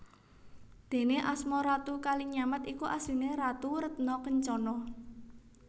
Déné asma Ratu Kalinyamat iku asliné Ratu Retna Kencana